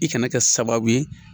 I kana kɛ sababu ye.